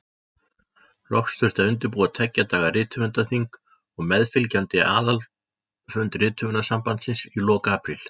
Loks þurfti að undirbúa tveggja daga rithöfundaþing og meðfylgjandi aðalfund Rithöfundasambandsins í lok apríl.